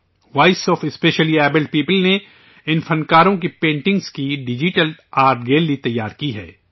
voice of specially abled people نے ان فنکاروں کی پینٹنگز کی ڈیجیٹل آرٹ گیلری تیار کی ہے